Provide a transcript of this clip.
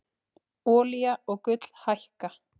Olía og gull hækka